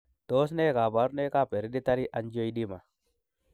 Tos nee koborunoikab Hereditary angioedema?